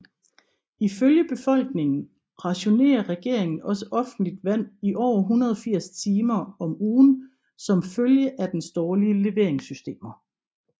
Ifølge befolkningen rationerer regeringen også offentligt vand i over 180 timer om ugen som følge af dens dårlige leveringssystemer